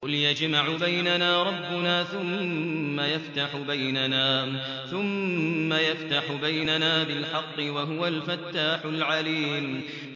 قُلْ يَجْمَعُ بَيْنَنَا رَبُّنَا ثُمَّ يَفْتَحُ بَيْنَنَا بِالْحَقِّ وَهُوَ الْفَتَّاحُ الْعَلِيمُ